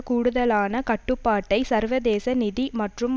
கூடுதலான கட்டுப்பாட்டை சர்வதேச நிதி மற்றும்